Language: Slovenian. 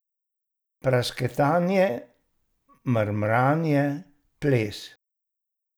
Prasketanje, mrmranje, ples.